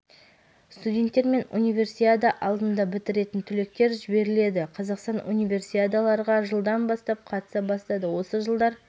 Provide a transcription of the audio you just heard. арасында жарыстарға спортшы қатысып медаль жеңіп алды жылғы қарашада халықаралық студенттік спорт федерациясы алматыны жылғы